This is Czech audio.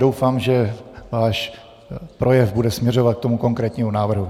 Doufám, že váš projev bude směřovat k tomu konkrétnímu návrhu.